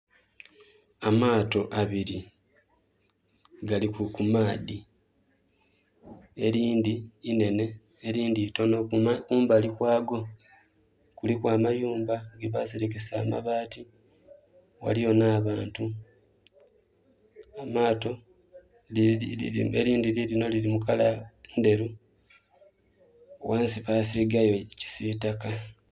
Amaato abiri gali ku maadhi elindhi inhenhe elindhi itonho, kumbali kwaago kuliku amayumba ge baserekesa amabaati ghaliyo nh'abantu. Amaato...elindhi lilinho lili mu kala ndheru, ghansi baasigayo kisitaka.